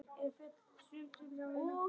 Nú, hvers vegna?